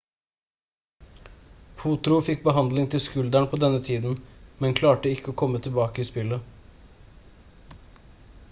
potro fikk behandling til skulderen på denne tiden men klarte å komme tilbake til spillet